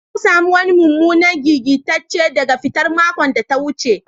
Na samu wanni mumunan gigice daga hitan maokon da ta wuce.